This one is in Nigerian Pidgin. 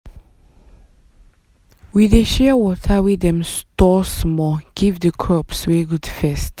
we dey share water wey dem store small give the crops wey good first